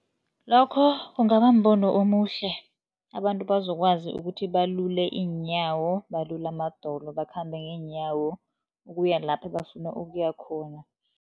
Lokho kungaba mbono omuhle, abantu bazokwazi ukuthi balule iinyawo, balule amadolo, bakhambe ngeenyawo ukuya lapha ebafuna ukuya khona.